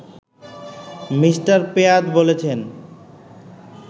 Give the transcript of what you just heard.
Me. Pyatt বলেছেন